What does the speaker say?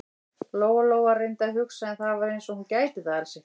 Lóa-Lóa reyndi að hugsa, en það var eins og hún gæti það alls ekki.